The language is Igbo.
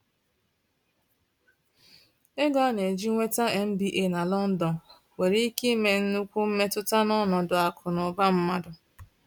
Ego a na-eji nweta MBA na London nwere ike ime nnukwu mmetụta n’ọnọdụ akụ na ụba mmadụ.